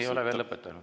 Ei ole veel lõpetanud.